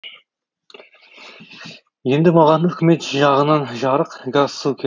енді маған үкімет жағынан жарық газ су керек